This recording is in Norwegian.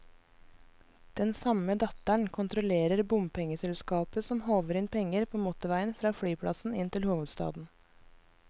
Den samme datteren kontrollerer bompengeselskapet som håver inn penger på motorveien fra flyplassen inn til hovedstaden.